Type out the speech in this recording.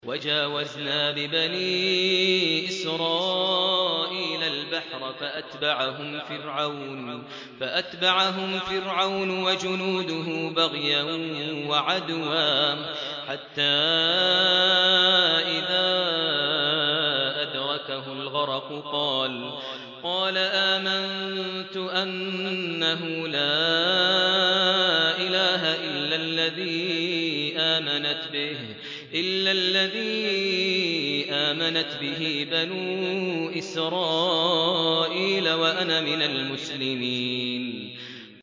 ۞ وَجَاوَزْنَا بِبَنِي إِسْرَائِيلَ الْبَحْرَ فَأَتْبَعَهُمْ فِرْعَوْنُ وَجُنُودُهُ بَغْيًا وَعَدْوًا ۖ حَتَّىٰ إِذَا أَدْرَكَهُ الْغَرَقُ قَالَ آمَنتُ أَنَّهُ لَا إِلَٰهَ إِلَّا الَّذِي آمَنَتْ بِهِ بَنُو إِسْرَائِيلَ وَأَنَا مِنَ الْمُسْلِمِينَ